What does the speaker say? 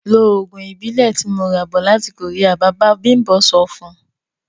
Ló oògùn Ìbílẹ̀ tí mo ra bọ̀ láti Korea! Bàbá bimbo sọ fun.